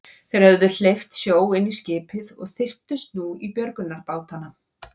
Þeir höfðu hleypt sjó inn í skipið og þyrptust nú í björgunarbátana.